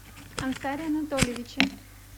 ансаре анатольевиче